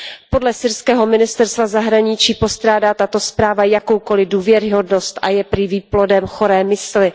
Podle syrského ministerstva zahraničí postrádá tato zpráva jakoukoliv důvěryhodnost a je prý výplodem choré mysli.